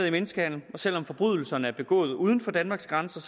i menneskehandel og selv om forbrydelserne er begået uden for danmarks grænser